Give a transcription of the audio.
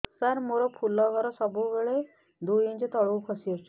ସାର ମୋର ଫୁଲ ଘର ସବୁ ବେଳେ ଦୁଇ ଇଞ୍ଚ ତଳକୁ ଖସି ଆସିଛି